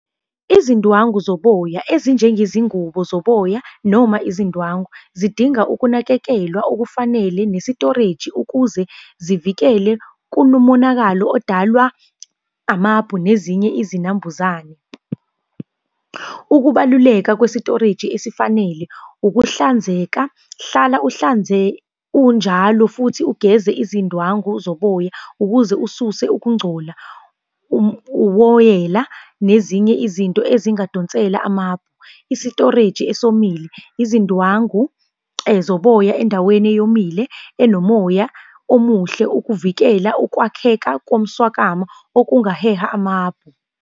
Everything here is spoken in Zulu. Izindwangu zoboya ezinjengezingubo zoboya noma izindwangu, zidinga ukunakekelwa okufanele nesitoreji ukuze zivikele kulo monakalo odalwa amabhu nezinye izinambuzane. Ukubaluleka kwesitoreji esifanele, ukuhlanzeka, hlala unjalo futhi ugeze izindwangu zoboya ukuze ususe ukungcola, uwoyela, nezinye izinto ezingadonsela amabhu. Isitoreji esomile, izindwangu zoboya endaweni eyomile, enomoya omuhle, ukuvikela ukwakheka komswakama okungaheha amabhu.